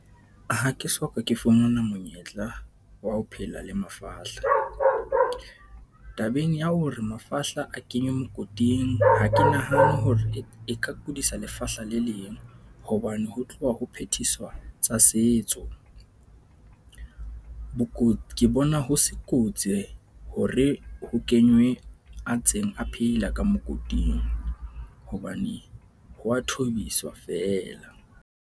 Ha ke so ka ke fumana monyetla wa ho phela le mafahla, tabeng ya hore mafahla a kenywe mokoting, ha ke nahane hore e ka kudisa lefahla le leng. Hobane ho tloha ho phethiswa tsa setso. Ke bona ho se kotsi hore ho kenywe a ntseng a phela ka mokoting, hobane ho a thobiswa feela.